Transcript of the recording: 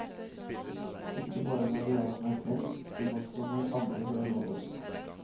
Ikke bare når det gjaldt meg selv, men også når andre ble mobbet.